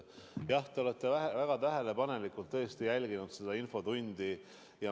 Jah, te olete väga tähelepanelikult jälginud seda infotundi.